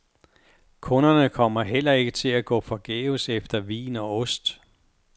Kunderne kommer heller ikke til at gå forgæves efter vin og ost.